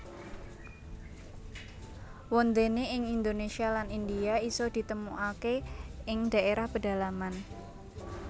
Wondene ing Indonesia lan India iso ditemukake ing daerah pedalaman